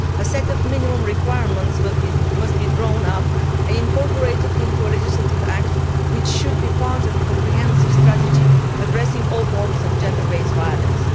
A set of minimum requirements must be drawn up and incorporated into a legislative act which should be part of a comprehensive strategy addressing all forms of gender based violence.